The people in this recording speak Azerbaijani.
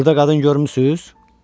Burda qadın görmüsüz?